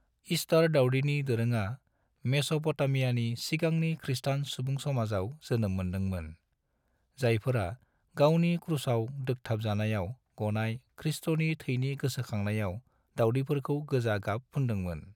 Star दावदैनि दोरोङा मेस'पटामियानि सिगांनि ख्रीष्टान सुबुंसमाजाव जोनोम मोन्दोंमोन, जायफोरा गावनि क्रुसाव दोग्थाबजानायाव गनाय ख्रीष्टनि थैनि गोसोखांनायाव दावदैफोरखौ गोजा गाब फुनदोंमोन।